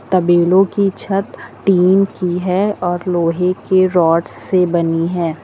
तबेलों की छत टीन की है और लोहे की रोड से बनी हुई है।